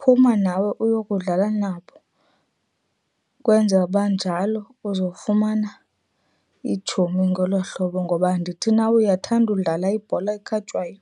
phuma nawe uyokudlala nabo ukwenzela uba njalo uzofumana iitshomi ngolo hlobo. Ngoba andithi na uyathanda udlala ibhola ekhatywayo?